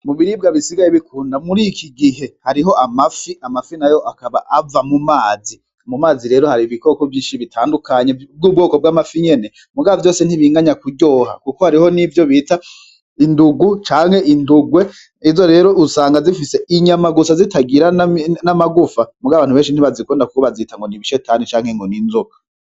Mubiribwa bisihaye bikundwa mur'ikigihe harimwo amafi, amafi nayo akaba ava mu mazi, mu mazi rero har'ibikoko vyinshi bitandukanye vy'ubwoko bw'amafi nyene, muga vyose ntibiganya kuryoha kuko hariho nivyo bita indungu canke indugwe izo rero usanga zifise inyama gusa zitagira n'amagufa muga abantu benshi ntibazikunda kuko bazita ngo n'ibishetani canke ngo n'inzoka.